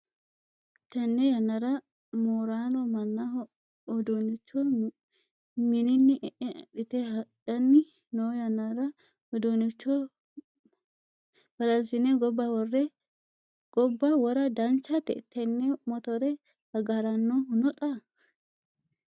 Tenne yannara moorano mannaho uduunnicho mininni e'e adhite hadhanni no yannara uduniicho balalsine gobba wora danchate? Tenne motore agarinohu no xa?